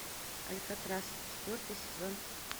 алькатрас четвертый сезон